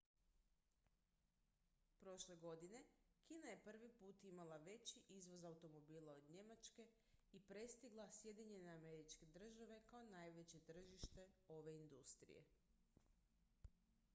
prošle godine kina je prvi put imala veći izvoz automobila od njemačke i prestigla sjedinjene američke države kao najveće tržište ove industrije